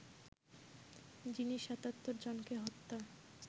যিনি ৭৭ জনকে হত্যা